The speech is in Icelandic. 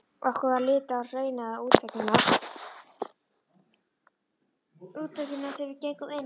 Okkur varð litið á hraunaða útveggina þegar við gengum inn.